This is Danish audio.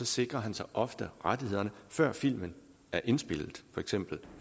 sikrer han sig ofte rettighederne før filmen er indspillet for eksempel